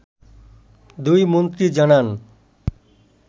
দুই মন্ত্রী জানান